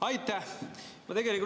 Aitäh!